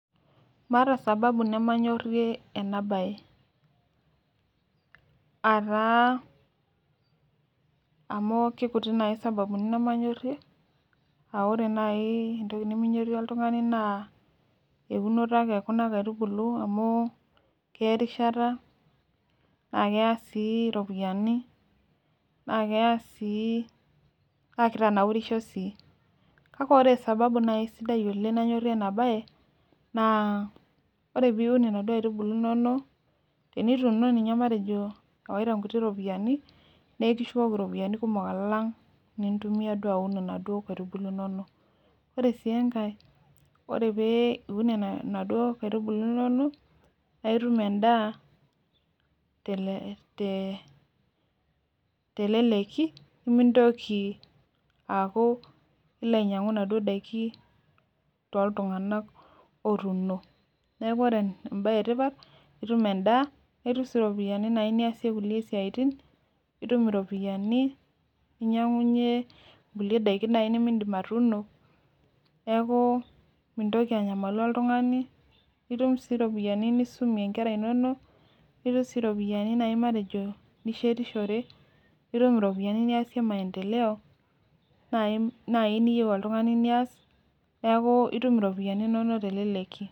Maata sababu nemanyorie ena bae, ataa amu kitutik naaji sababuni nemanyorie, ore naaji entoki niminyorie, oltungani naa eunoto ake ekuna kaitubulu amu keya erishata, naa keya sii iropiyiani, naa kitanaurisho sii. kake ore sababu naaji sidai oleng nanyorie ena bae naa, ore peun inaduoo aitubulu inonok. tenituuno ninye matejo, ewaoat nkuti ropiyiani, naa ekishukoki iropiyiani kumok alang' inintumia duo aun nkaitubulu inonok. ore sii enkae ore pee iun inaduoo kaitubulu inonok. naa itum edaa teleleki nimintoki aaku ilo ainyiangu inaduoo daikin tooltunganak otuuno. neeku ore ebae etipat, itum edaa nitum sii iropiyiani naaji niyasie kulie siatin, nitum iropiyiani, ninyiang'unye kulie daikin naaji nimidim atuuno. neeku , nimintoki anyamalu oltungani, nitum sii ropiyiani nisumie nkera inonok. nitum sii iropiyiani naaji matejo nishetishore. ntum iropiyiani naaji niyasie maendeleo naaji niyieu teleleki.